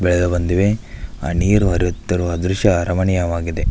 ಬೆಳೆದು ಬಂದಿವೆ ನೀರು ಹರಿಯುತ್ತಿರುವ ದೃಶ್ಯ ಅರಮನೆಯವಾಗಿದೆ.